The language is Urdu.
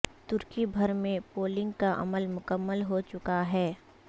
ترکی بھر میں پولنگ کا عمل مکمل ہو چکا ہے